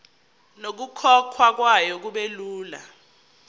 nokukhokhwa kwayo kubelula